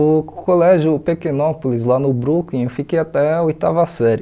O colégio Pequenópolis, lá no Brooklyn, eu fiquei até a oitava série.